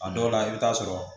A dɔw la i bɛ taa sɔrɔ